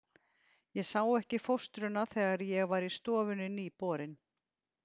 Ég sá ekki fóstruna þegar ég var í stofunni nýborinn.